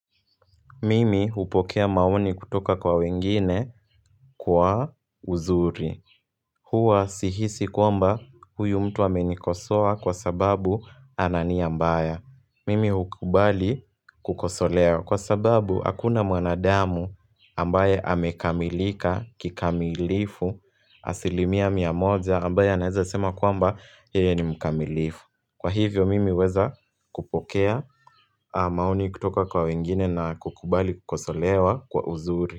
Mimi hupokea maoni kutoka kwa wengine kwa uzuri Huwa sihisi kwamba huyu mtu amenikosoa kwa sababu ana nia mbaya Mimi hukubali kukosolewa. Kwa sababu hakuna mwanadamu ambaye amekamilika kikamilifu asilimia mia moja ambaye anaweza sema kwamba yeye ni mkamilifu. Kwa hivyo mimi huweza kupokea maoni kutoka kwa wengine na kukubali kukosolewa kwa uzuri.